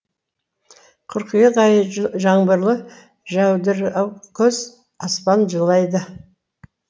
қыркүйек айы жаңбырлы жәудіраукөз аспан жылайды